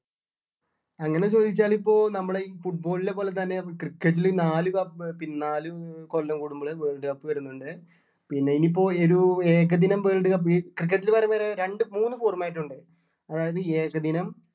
അങ്ങനെ ചോദിച്ചാൽ ഇപ്പൊ നമ്മളെ ഈ foot ball ലെ പോലെ തന്നെ cricket ലും നാല് കപ് പിന്നെ നാല് ആഹ് കൊല്ലം കൂടുമ്പോളെ world cup വരുന്നുണ്ട് പിന്നെ ഇപ്പൊ ഒരു ഏകദിനം world cup ഈ cricket ല് വരുമ്പോഴ് രണ്ട് മൂന്ന് format ഉണ്ട് അതായത് ഏകദിനം